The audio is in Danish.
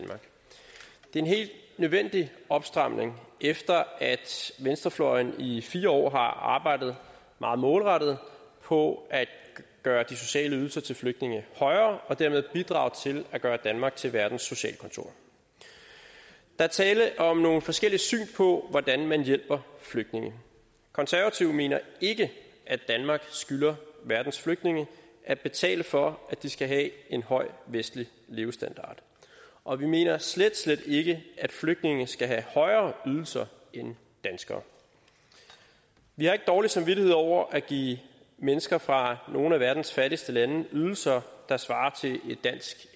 en helt nødvendig opstramning efter at venstrefløjen i fire år har arbejdet meget målrettet på at gøre de sociale ydelser til flygtninge højere og dermed bidrage til at gøre danmark til verdens socialkontor der er tale om nogle forskellige syn på hvordan man hjælper flygtninge konservative mener ikke at danmark skylder verdens flygtninge at betale for at de skal have en høj vestlig levestandard og vi mener slet slet ikke at flygtninge skal have højere ydelser end danskere vi har ikke dårlig samvittighed over at give mennesker fra nogle af verdens fattigste lande ydelser der svarer til et dansk